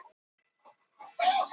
Klukkan hálf sjö